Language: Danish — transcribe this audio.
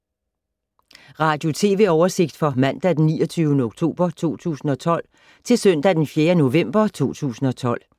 Radio/TV oversigt fra mandag d. 29. oktober 2012 til søndag d. 4. november 2012